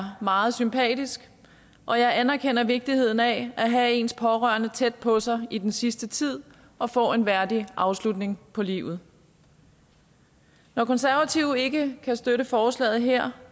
meget sympatisk og jeg anerkender vigtigheden af at have ens pårørende tæt på sig i den sidste tid og få en værdig afslutning på livet når konservative ikke kan støtte forslaget her